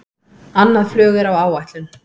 Annað flug er á áætlun